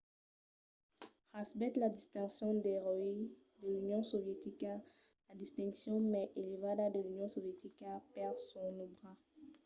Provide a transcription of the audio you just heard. recebèt la distincion d'"eròi de l'union sovietica la distincion mai elevada de l'union sovietica per son òbra